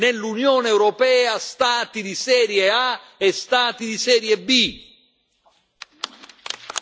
Non ci possono essere, nell'Unione europea, Stati di serie A e Stati di serie B.